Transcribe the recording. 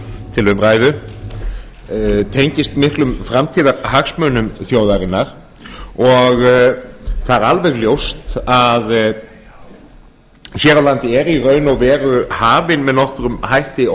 til umræðu tengist miklum framtíðarhagsmunum þjóðarinnar og það er alveg ljóst að hér á landi er í raun og veru hafin með nokkrum hætti